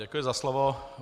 Děkuji za slovo.